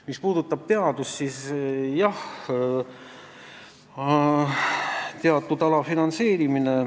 Mis puudutab teadust, siis jah, siin on teatud alafinantseerimine.